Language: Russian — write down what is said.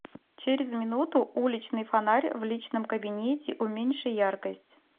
через минуту уличный фонарь в личном кабинете уменьши яркость